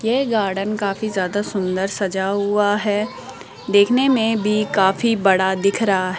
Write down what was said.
ये गार्डन काफी ज्यादा सुंदर सजा हुआ है देखने में भी काफी बड़ा दिख रहा है।